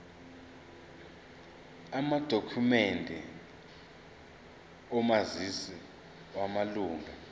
amadokhumende omazisi wamalunga